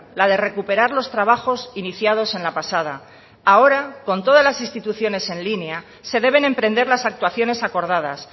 la de recuperar los trabajos iniciados en la pasada ahora con todas las instituciones en línea se deben emprender las actuaciones acordadas